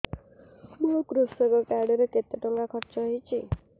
ମୋ କୃଷକ କାର୍ଡ ରେ କେତେ ଟଙ୍କା ଖର୍ଚ୍ଚ ହେଇଚି